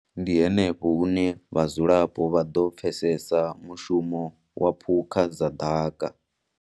Ndi henefho hune vhadzulapo vha ḓo pfesesa mushumo wa phukha dza ḓaka.